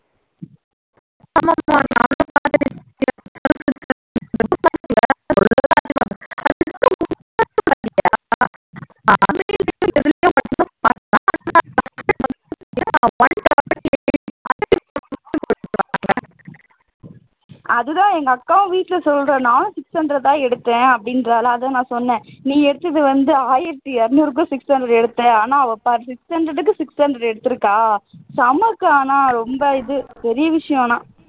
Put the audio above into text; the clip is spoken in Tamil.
அதுதான் எங்க அக்காவும் வீட்ல சொல்றா நானும் six hundred தான் எடுத்தேன் அப்படின்றாளா அதான் நான் சொன்னேன் நீ எடுத்தது வந்து ஆயிரத்து இருநூறுக்கு six hundred எடுத்த ஆனா அவ six hundred க்கு six hundred எடுத்திருக்கா